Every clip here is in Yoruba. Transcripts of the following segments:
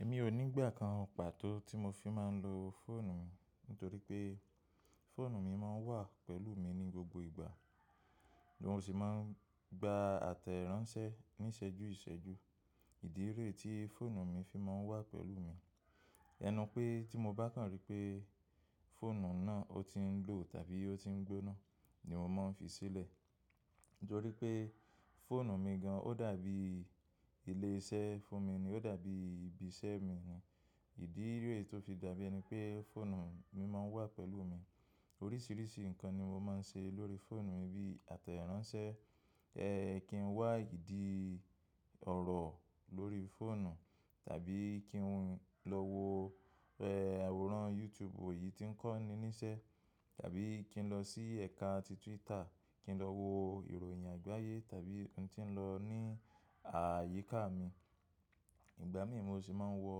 Èmi ò ní ìgbà kan pàtó tí mo fi máa ń lo fóònù mi, nítorí pé fóònù mi máa ń wà pẹ̀lú mi ní gbogbo ìgbà. Mo sì máa ń gba àtẹ̀ránsẹ́ níṣẹ́jú ìṣẹ́jú. Ìdílé ree ti fóònù mi fi máa ń wà pẹ̀lú mi. Ẹnu pé tí mo bá kàn rí pé fóònù náà ó ti ń lò tàbí ó ti ń gbóná ni mo máa ń fi sílẹ̀. Nítorí pé fóònù mi gan, ó dàbí ilé iṣẹ́ fún mi ni, ó dàbí ibi iṣẹ́ mi ni. Ìdílé tó fi dàbí ẹni pé fóònù mi máa ń wà pẹ̀lú mi. Oríṣiríṣi nǹkan ni mo máa ń ṣe lórí fóònù mi, bí i àtẹ̀ránsẹ́, kí n wá ìdí ọ̀rọ̀ lórí fóònù tàbí kí n lọ wo àwòrán YouTube oyì tí ń kọ́ni níṣẹ́ tàbí kí n lọ sí ẹ̀ka ti Twitter, kí n lọ wo ìròyìn àgbáyé tàbí ohun tí ń lọ ní ààyíká mi. Ìgbà mí mú ṣì máa ń wọ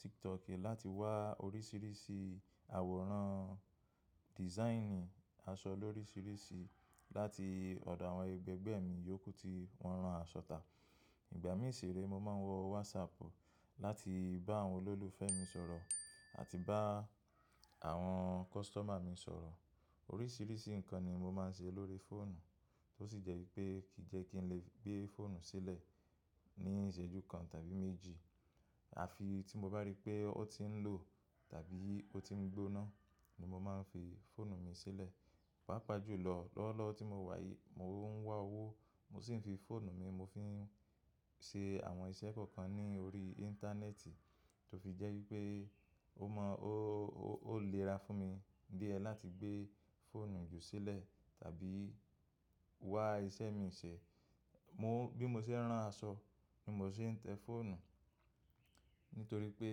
TikTok láti wá oríṣiríṣi àwòrán, dìsáínì aṣọ oríṣiríṣi láti ọ̀dọ̀ àwọn ẹgbẹgbẹ́ mi yókù tí wọ́n rán aṣọ tà. Ìgbà mí ṣì rí, mo máa ń wọ WhatsApp láti bá àwọn olólùfẹ́ mi sọ̀rọ̀ àti bá àwọn kọ́sítọ̀mà mi sọ̀rọ̀. Oríṣiríṣi nǹkan ni mo máa ń ṣe lórí fóònù, tó sì jẹ́ wípé kì í jẹ́ kí n lè gbé fóònù sílẹ̀ ní ìṣẹ́jú kan tàbí méjì. Àfi tí mo bá rí pé ó ti ń lò tàbí ó ti ń gbóná ni mo máa ń fi fóònù mi sílẹ̀. Pápàjù lọ, lọ́wọ́lọ́wọ́ tí mo wà yìí mo ń wá owó, mo sì ń fi fóònù mi mo fi ń ṣe àwọn iṣẹ́ kọ̀ọ̀kan ní orí íńtánẹ́ẹ̀tì tó fi jẹ́ wípé ó mọ́ ó, ó lè ra fún mi díẹ̀ láti gbé fóònù jù sílẹ̀ tàbí wá iṣẹ́ mii ṣẹ. Mo-- bí mo ṣe ń rán aṣọ ni mo ṣe ń tẹ́ fóònù, nítorí pé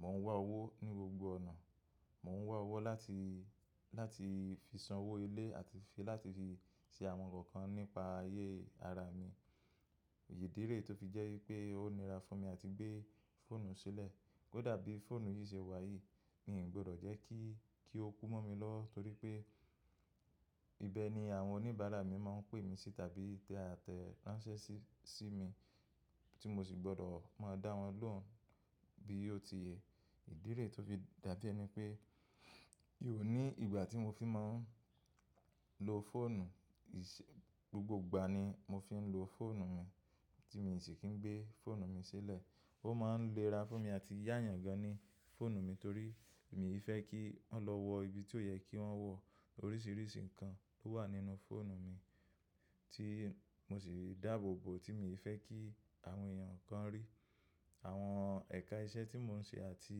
mò ń wá owó ní gbogbo ọ̀nà. Mò ń wá owó láti, láti fi sanwó ilé àti fi láti fi ṣe àwọn nǹkan nípa ayé ara mi. Ìdíré tó fi jẹ́ wípé ó nira fún mi àti gbé fóònù sílẹ̀. Ó dàbí fóònù yìí ṣe wà yìí, mi ò gbọdọ̀ jẹ́ kí, kí ó kú mọ́ mi lọ́, torí pé ibẹ̀ ni àwọn oníbàárà mi máa ń pè mí sí tàbí tẹ àtẹ̀ránsẹ́ sí, sí mi tí mo sì gbọdọ̀ máa dá wọn lóhùn bí ó ti yẹ. Ìdíré tó fi dàbí ẹni pé ì ó ní ìgbà tí mo fi máa ń lo fóònù. Ìṣẹ́-- gbogbo ìgbà ni mo fi ń lo fóònù mi tí mo sì kì í gbé fóònù mi sílẹ̀. Ó máa ń lẹ́ra fún mi àti yàayàn gan-an ní fóònù mi torí mi ò fẹ́ kí wọ́n lọ wo ibi tí ó yẹ kí wọ́n wọ̀. Oríṣiríṣi nǹkan tó wà nínú fóònù mi tí mo sì dáàbòbò tí mi ò fẹ́ kí àwọn èèyàn kankan rí. Àwọn ẹ̀ka iṣẹ́ tí mò ń ṣe àti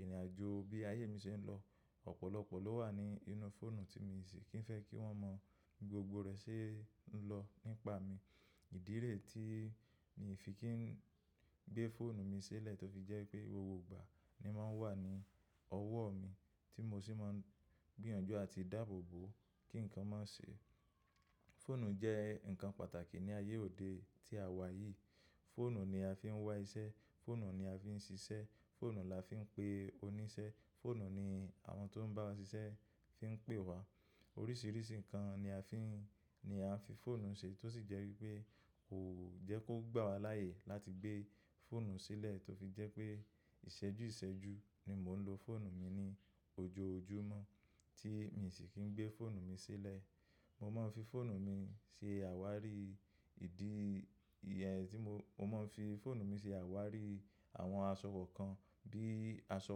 ìrìnàjò bí ayé mi ṣe ń lọ, ọ̀pọ̀lọpọ̀ ló wà nínú fóònù tí mo sì kì í fẹ́ kí wọ́n mọ gbogbo rẹ̀ ṣe ń lọ nípa mi. Ìdílé tí mi ò fi kí ń gbé fóònù mi sílẹ̀ tó fi jẹ́ pé gbogbo ìgbà ni máa ń wà ní ọwọ́ mi tí mo sì máa ń gbìyànjú àti dáàbòbò kí nǹkan máa ṣe. Fóònù jẹ́ nǹkan pàtàkì ní ayé òde tí a wà yìí. Fóònù ni a fi ń wá iṣẹ́, fóònù ni a fi ń ṣiṣẹ́, fóònù la fi ń pe oníṣẹ́, fóònù ni àwọn tó ń bá wa ṣiṣẹ́ fi ń pè wa. Oríṣiríṣi nǹkan ni a fi ń, ni a ń fi fóònù ṣe tó sì jẹ́ wípé kò jẹ́ kó gbà wa láàyè láti gbé fóònù sílẹ̀ tó fi jẹ́ pé ìṣẹ́jú ìṣẹ́jú ni mò ń lo fóònù mi ní ojoojúmọ́ tí mi sì kì í gbé fóònù mi sílẹ̀. Mo máa ń fi fóònù mi ṣe àwárí ìdí tí mo-- mo máa ń fi fóònù mi ṣe àwárí àwọn aṣọ kọ̀ọ̀kan. Bí i aṣọ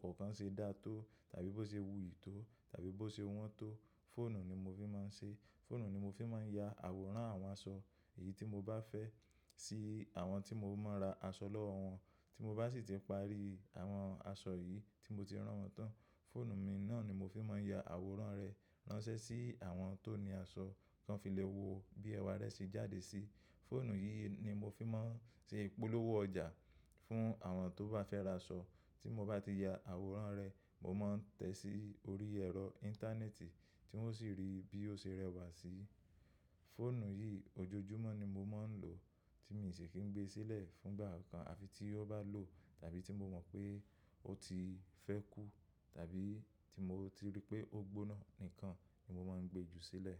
kọ̀ọ̀kan ṣe dá tó tàbí bó ṣe wuyì tó tàbí bó ṣe wọ́n tó, fóònù ni mo fi máa ń ṣe. Fóònù ni mo fi máa ń ya àwòrán àwọn aṣọ yìí tí mo bá fẹ́ sí àwọn tí mo máa ra aṣọ lọ́wọ́ wọn. Tí mo bá sì ti parí àwọn aṣọ yìí tí mo ti rán wọn tán, fóònù mi náà ni mo fi máa ń ya àwòrán rẹ̀ ránṣẹ́ sí àwọn tó ni aṣọ kan fi lẹ̀ wo bí ẹwà rẹ̀ ṣe jáde sí. Fóònù yìí ni mo fi máa ń ṣe ìpolówó ọjà fún àwọn tó bá fẹ́ ra aṣọ. Tí mo bá ti ya àwòrán rẹ̀, mo máa ń tẹ sí orí ẹ̀rọ íńtánẹ́ẹ̀tì tí wọ́n sì rí bí ó ṣe rẹwà síi. Fóònù yìí ojoojúmọ́ ni mo máa ń lò tí mi ò sì kí ń gbé sílẹ̀ fún ìgbà kan. Àfi tí ó bá lò tàbí tí mo mọ̀ pé ó ti fẹ́ kú tàbí tí mo ti rí pé ó gbóná nìkan ni mo máa ń gbé ju sílẹ̀.